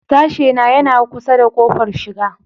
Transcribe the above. Sashena yana kusa da ƙofar shiga.